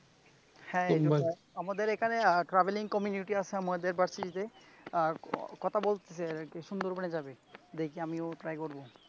আমাদের এখানে travel community আছে আমাদের varsity তে আর কথা বলছি যে সুন্দরবনের যাবে দেখি আমি try করবো